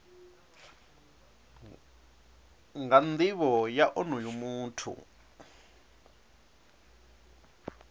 nga nivho ya onoyo muthu